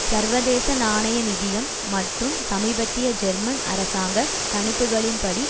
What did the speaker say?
சர்வதேச நாணய நிதியம் மற்றும் சமீபத்திய ஜெர்மன் அரசாங்க கணிப்புகளின் படி